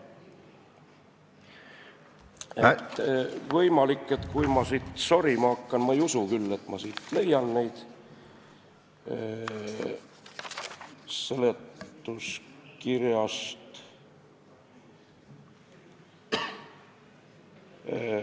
Võimalik, et kui ma siin sorima hakkan, ma ei usu küll, et ma leian neid siit seletuskirjast ...